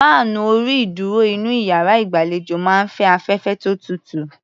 Fáànù orí-ìdúrò inú iyàrá ìgbàlejò máa ń fẹ́ afẹ́fẹ́ tó tutù.